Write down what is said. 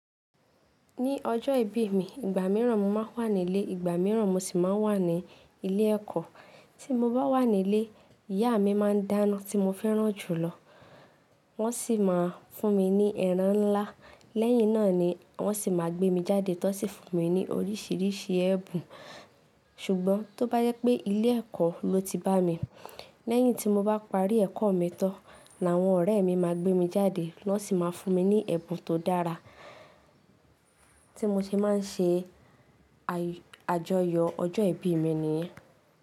Ní ọjọ́ ìbí mi, ìgbà mìíràn mo máa ń wà nílé, ìgbà mìíràn mo sì máa ń wà ní ilé ẹ̀kọ́. Tí mo bá wà nílé, ìyá mi máa ń dáná tí mo fẹ́ràn jù lọ. Wọ́n sì máa fún mi ní ẹran ńlá. Lẹ́yìn náà ni wọ́n sì máa gbé mi jáde tan sì fún mi ní oríṣìíríṣìí ẹ̀ bùn. Ṣùgbọ́n tó bá jẹ pé ilé ẹ̀kọ́ lo ti bá mi, lẹ́yìn tí mo bá parí ẹ̀kọ́ mi tan ni àwọn ọ̀rẹ́ mi máa gbé mi jáde, wọ́n sì máa fún mi ní ẹ̀bùn tó dára tí mo se máa ń ṣe àjoyọ̀ ọjọ́ ìbí mi nìyẹn.